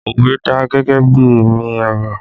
Òwe dà gẹ́gẹ́ bí ẹ̀mí ọ̀rọ̀